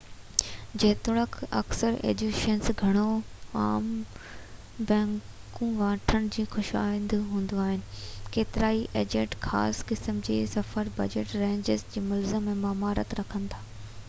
جيتوڻيڪ اڪثر ايجنسيون گهڻو عام بڪنگون وٺڻ جون خواهشمند آهن ڪيترائي ايجنٽ خاص قسم جي سفر بجٽ رينجز يا منزلن ۾ مهارت رکن ٿا